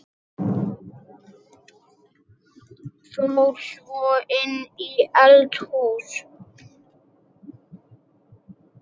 Fór svo inn í eldhús.